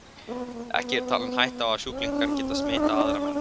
Ekki er talin hætta á sjúklingar geti smitað aðra menn.